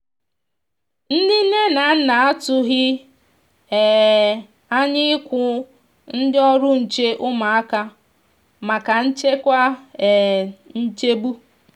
ndi nne na nna a tụghi um anya iku ndi ọrụ nche ụmụaka maka nchekwa um nchegbu.